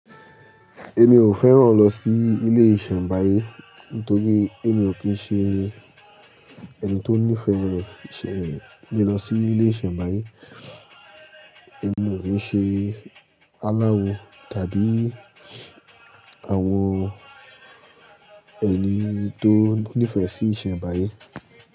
Èmi ò fẹ́ràn lọ sí ilé ìṣẹ̀nbáyé, nítorí èmi ò kí ń ṣe ẹni tó nífẹ̀ẹ́ re, ṣẹ lọ sí ilé ìṣẹ̀nbáyé. Èmi ò kí ń ṣe aláwo, tàbí àwọn ẹni tó nífẹ̀ẹ́ sí ìṣẹ̀nbáyé.